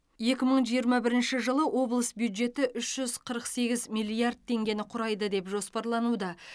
екі мың жиырма бірінші жылы облыс бюджеті үш жүз қырық сегіз миллиард теңгені құрайды деп жоспарлануда